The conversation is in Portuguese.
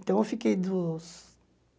Então eu fiquei dos,